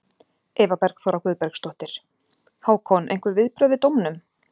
Eva Bergþóra Guðbergsdóttir: Hákon, einhver viðbrögð við dómnum?